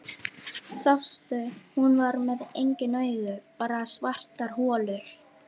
Sástu, hún var með engin augu, bara svartar holur